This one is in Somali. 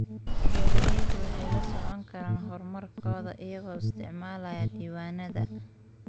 Beeraleydu waxay la socon karaan horumarkooda iyagoo isticmaalaya diiwaannada.